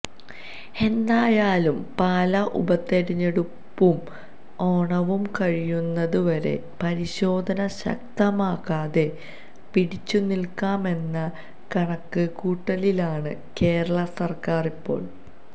എന്തായാലും പാലാ ഉപതെരഞ്ഞെടുപ്പും ഓണവും കഴിയുന്നത് വരെ പരിശോധന ശക്തമാക്കാതെ പിടിച്ച് നിൽക്കാമെന്ന കണക്ക് കൂട്ടലിലാണ് കേരള സർക്കാർ ഇപ്പോൾ